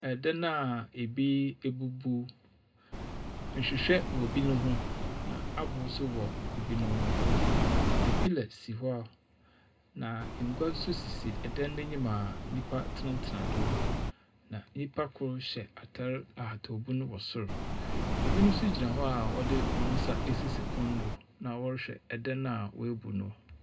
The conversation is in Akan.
Dan a bi ebubuw. Nhwehwɛ wɔ binom ho, na aboow nso wɔ binom ho. Catapiller so hɔ, na ngua nso sisi dan no anim a nyimpa tsenatsena do, na nyimpa kor hyɛ atar a ahatawbu wɔ sor. Binom nso gyina hɔ a wɔdze hɔn nsa asisi pon do, na wɔrehwɛ dan a woebu no.